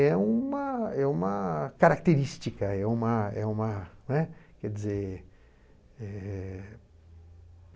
É uma é uma característica é uma é uma, né, quer dizer, eh